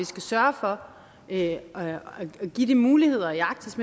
skal sørge for at give de muligheder i arktis